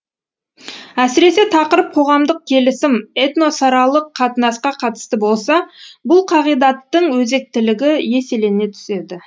әсіресе тақырып қоғамдық келісім этносаралық қатынасқа қатысты болса бұл қағидаттың өзектілігі еселене түседі